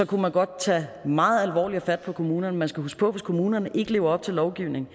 kunne man godt tage meget alvorligt fat på kommunerne man skal huske på at hvis kommunerne ikke lever op til lovgivningen